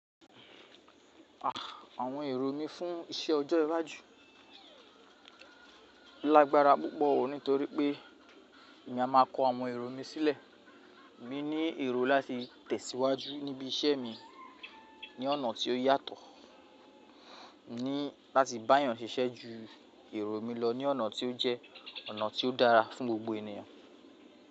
Àwọn èrò mí fún iṣẹ́ ọjọ́ iwájú lágbára púpọ̀ nítorí pé èmi a máa kọ àwọn èrò mi sílẹ̀. Mi ní èrò láti tẹ̀síwájú níbi iṣẹ́ mi ní ọ̀nà tí ó yàtọ̀, ní láti bá yàn ṣiṣẹ́ ju èrò mi lọ ní ọ̀nà tí ó jẹ́ ọ̀nà tí ó dára fún gbogbo ènìyàn.